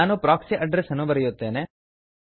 ನಾನು proxy address ಅನ್ನು ಬರೆಯುತ್ತೇನೆ